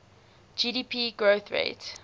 gdp growth rate